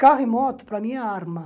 Carro e moto, para mim, é arma.